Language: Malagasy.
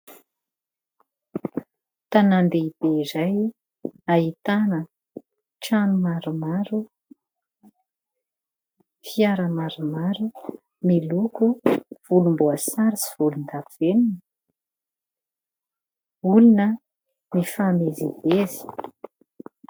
Tanan-dehibe iray ahitana trano maromaro, fiara maromaro miloko volom-boasary sy volondavenona, olona mifamezivezy.